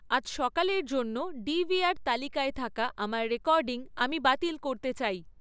আজ সকালের জন্য ডি.ভি.আর তালিকায় থাকা আমার রেকর্ডিং আমি বাতিল করতে চাই